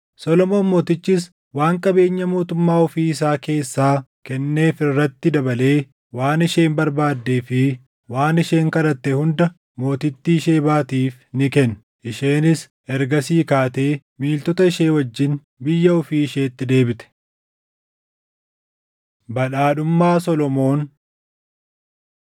Solomoon Mootichis waan qabeenya mootummaa ofii isaa keessaa kenneef irratti dabalee waan isheen barbaaddee fi waan isheen kadhatte hunda mootittii Shebaatiif ni kenne. Isheenis ergasii kaatee miiltota ishee wajjin biyya ofii isheetti deebite. Badhaadhummaa Solomoon 10:14‑29 kwf – 2Sn 1:14‑17; 9:13‑28